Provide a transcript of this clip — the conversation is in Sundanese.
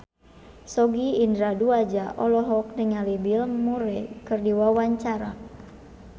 Sogi Indra Duaja olohok ningali Bill Murray keur diwawancara